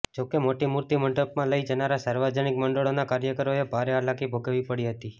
જોકે મોટી મૂર્તિ મંડપમાં લઈ જનારા સાર્વજનિક મંડળોના કાર્યકરોએ ભારે હાલાકી ભોગવવી પડી હતી